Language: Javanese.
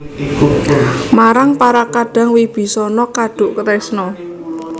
Marang para kadang Wibisana kaduk tresna